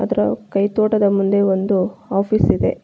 ಇದರ ಕೈತೋಟದ ಮುಂದೆ ಒಂದು ಆಫೀಸ್ ಇದೆ.